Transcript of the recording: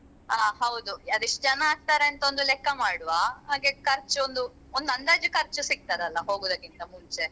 ಹ ಹೌದು ಅದು ಎಸ್ಟ್ ಜನ ಆಗ್ತಾರೆ ಅಂತ ಒಂದು ಲೆಕ್ಕ ಮಾಡುವ ಹಾಗೆ ಖರ್ಚ್ ಒಂದು ಒಂದು ಅಂದಾಜು ಖರ್ಚು ಸಿಗ್ತದಲ್ಲ ಹೋಗುದಕ್ಕಿಂತ ಮುಂಚೆ.